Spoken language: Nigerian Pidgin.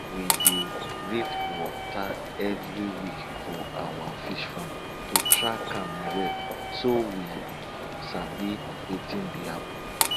we dey read water every week for our fish farm to track am well so we sabi wetin dey happen